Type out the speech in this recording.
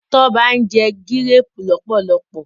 Toba njé Gírèèpù lọpọlọpọ.